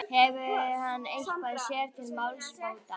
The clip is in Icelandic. Hefur hann eitthvað sér til málsbóta?